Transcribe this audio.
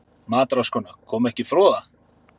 MATRÁÐSKONA: Kom ekki froða?